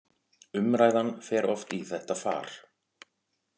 Umræðan fer oft í þetta far